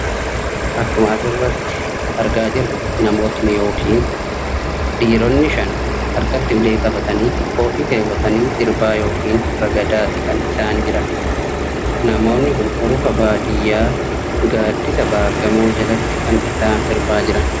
Akkuma asirratti argaa jirru, namootni yookiin dhiironni shan harkatti ulee qabatanii, koophii keewwatanii sirbaa yookiin ragadaati kan isaan jiran. Namoonni kun urufa baadiyyaa gaaddisa baargamoo jalatti kan isaan sirbaa jiran.